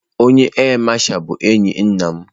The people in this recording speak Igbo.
Onye áà Masha bụ enyi nna m.